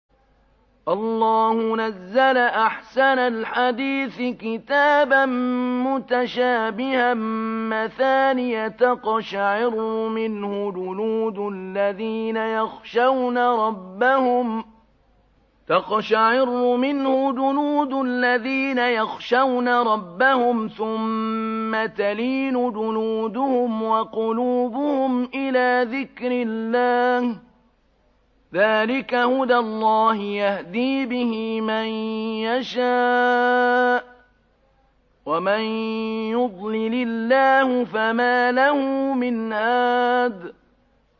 اللَّهُ نَزَّلَ أَحْسَنَ الْحَدِيثِ كِتَابًا مُّتَشَابِهًا مَّثَانِيَ تَقْشَعِرُّ مِنْهُ جُلُودُ الَّذِينَ يَخْشَوْنَ رَبَّهُمْ ثُمَّ تَلِينُ جُلُودُهُمْ وَقُلُوبُهُمْ إِلَىٰ ذِكْرِ اللَّهِ ۚ ذَٰلِكَ هُدَى اللَّهِ يَهْدِي بِهِ مَن يَشَاءُ ۚ وَمَن يُضْلِلِ اللَّهُ فَمَا لَهُ مِنْ هَادٍ